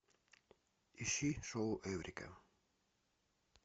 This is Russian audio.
ищи шоу эврика